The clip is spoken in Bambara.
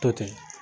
To ten